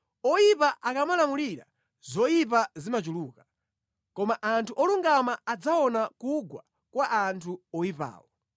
Oyipa akamalamulira zoyipa zimachuluka, koma anthu olungama adzaona kugwa kwa anthu oyipawo.